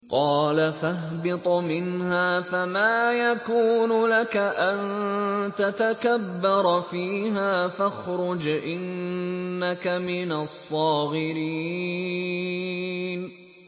قَالَ فَاهْبِطْ مِنْهَا فَمَا يَكُونُ لَكَ أَن تَتَكَبَّرَ فِيهَا فَاخْرُجْ إِنَّكَ مِنَ الصَّاغِرِينَ